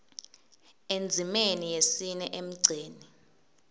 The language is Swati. endzimeni yesine emgceni